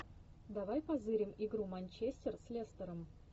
давай позырим игру манчестер с лестером